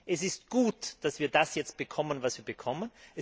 Es ist gut, dass wir das jetzt bekommen, was wir bekommen.